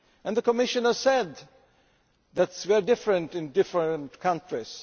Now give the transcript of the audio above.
The Commissioner said that we are different in different countries.